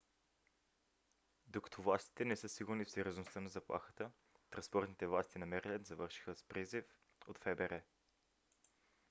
докато властите не са сигурни в сериозността на заплахата транспортните власти на мериленд завършиха с призив от фбр